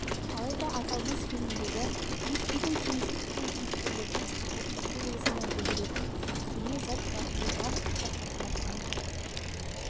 алайда аталмыш фильмдегі киіз үйде кеңістік пен кейіпкерлердің ұлттық белгісін білдіретін көне зат бар ол барлық қазақ халқына тән